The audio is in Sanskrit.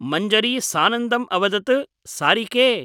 मञ्जरी सानन्दम् अवदत् सारिके !